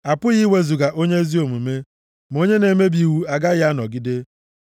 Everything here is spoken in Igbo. A pụghị iwezuga + 10:30 Maọbụ, ihopu onye ezi omume, ma onye na-emebi iwu agaghị anọgide.